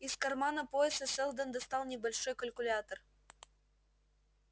из кармана пояса сэлдон достал небольшой калькулятор